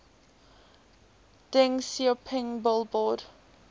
deng xiaoping billboard